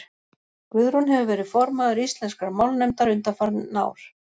guðrún hefur verið formaður íslenskrar málnefndar undanfarin ár